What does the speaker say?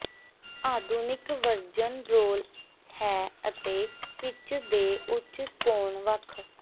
ਆਧੁਨਿਕ version roll ਹੈ ਅਤੇ ਪਿੱਚ ਦੇ ਉੱਚ ਕੋਣ ਵੱਖ